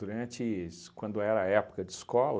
Durantes, quando era época de escola,